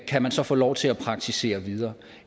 kan man så få lov til at praktisere videre